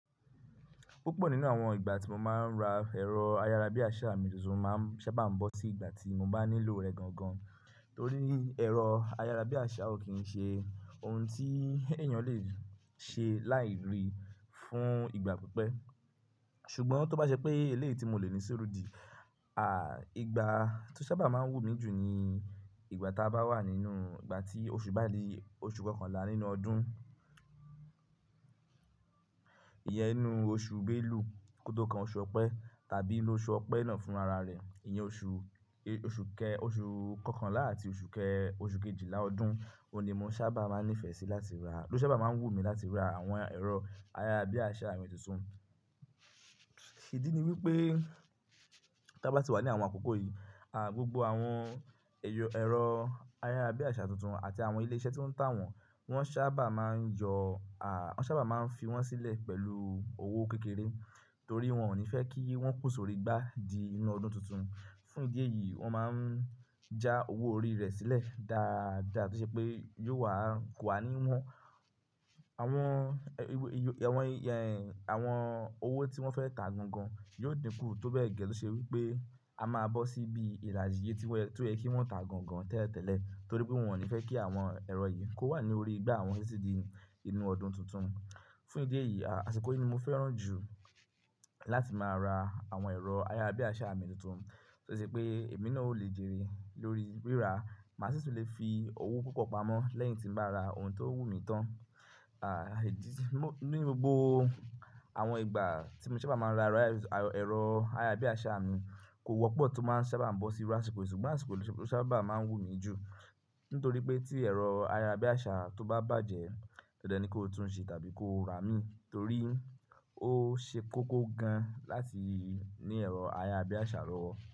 Púpọ̀ nínú àwọn ìgbà tí mo máa ń ra ẹ̀rọ ayára bí àṣà mi tuntun máa ń sábà bọ́ sí ìgbà tí mo bá nílò rẹ̀ gangan torí ẹ̀rọ ayára bí àṣà ò kí ń ṣe ohun tí èèyàn lè ṣe láì rí fún ìgbà pípẹ́. Ṣùgbọ́n tó bá ṣe pé eléyìí tí mo lè ní ṣuurù dí, à ìgbà tó sábà máa ń wù mí jù ni ìgbà tá bá wà nínú ìgbà tí oṣù bá di oṣù kọkànlá nínú ọdún. Iyẹn inú oṣù Belu kótó kan oṣù Ọ̀pẹ tàbí nínú óṣù Ọ̀pẹ náà fún ara rẹ̀. Iyẹn oṣù, oṣù kẹ-- oṣù kọkànlá àti oṣù kẹjìlá ọdún, òun ni mo sábà máa ń nífẹ̀ẹ́ sí láti ra, ló sábà máa ń wù mí láti ra àwọn ẹ̀rọ ayára bí àṣà mi tuntun. Ìdí ni wípé tá bá ti wà ní àwọn àkókò yìí, à gbogbo àwọn ẹyọ, ẹ̀rọ ayára bí àṣà tuntun àti àwọn ilé iṣẹ́ tó ń tà wọ́n, wọ́n sábà máa ń yọ, à wọ́n sábà máa ń fi wọ́n sílẹ̀ pẹ̀lú owó kékeré torí wọ́n ò ní fẹ́ kí wọ́n pò sórí igbá di inú ọdún tuntun. Fún ìdí èyí, wọ́n máa ń já owó orí rẹ̀ sílẹ̀ dáadáa tó ṣe pé yóò wà ko wá níwọ́n. Àwọn, àwọn owó tí wọ́n fẹ́ tà gan gan yóò dínkù tó bẹ́ẹ̀ gẹ tó ṣe wípé a máa bọ́ síbi ìlàjì iye tí w-- tó yẹ kí wọ́n tà gan gan tẹ́lẹ̀tẹ́lẹ̀ torí pé wọ́n ò ní fẹ́ kí àwọn ẹ̀rọ yìí kó wà ní orí igbá wọn títí di inú ọdún tuntun. Fún ìdí èyí, àsìkò yìí ni mo fẹ́ràn jù láti máa ra àwọn ẹ̀rọ ayára bí àṣà mi tuntun torí pé èmi náà ó lè jèrè lórí rírà, màá sì tún lè fi owó púpọ̀ pamọ́ lẹ́yìn tí bá ra ohun tó wù mí tán. Àh nínú gbogbo àwọn ìgbà tí mo sábà máa ń ra ẹ̀rọ ayára bí àṣà mi kò wọ́pọ̀ tó máa ń sábà bọ́ sí irú àsìkò yí, ṣùgbọ́n àsìkò yí ló sábà máa ń wù mí jù nítorí pé tí ẹ̀rọ ayára bí àṣà tó bá bàjẹ́ tẹ́lẹ̀ ní kó tún un ṣe tàbí kó ra mìí torí ó ṣe kókó gan láti ní ẹ̀rọ ayára bí àṣà lọ́wọ́.